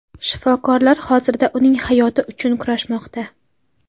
Shifokorlar hozirda uning hayoti uchun kurashmoqda.